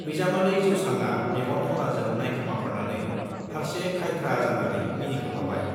बिजामादै जौस्रांआ मेगन खनाजों नाइखोमाहरनानै फार्से खाइथ्रा जानानै मिनिखोमाबाय।